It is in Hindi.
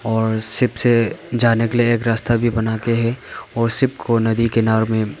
और शिप से जाने के लिए एक रास्ता भी बनाके हैं और शिप को नदी किनारो में--